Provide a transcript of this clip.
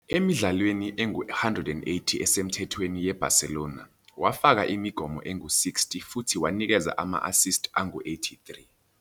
Emidlalweni engu-180 esemthethweni yeBarcelona, wafaka imigomo engu-60 futhi wanikeza ama-assist angu-83.